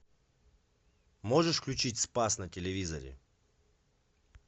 можешь включить спас на телевизоре